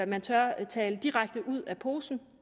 man tør tale direkte ud af posen